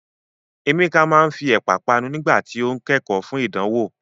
Emeka máa ń fi Ẹ̀pà panu nígbà tí ó ń kẹ́kọ̀ọ́ fún ìdánwò.